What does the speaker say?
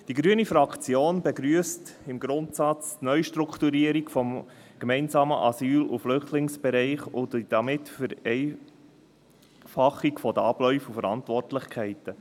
Die grüne Fraktion begrüsst die Neustrukturierung des gemeinsamen Asyl- und Flüchtlingsbereichs im Grundsatz und damit die Vereinfachung der Abläufe und Verantwortlichkeiten.